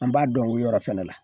An b'a dɔn o yɔrɔ fɛnɛ la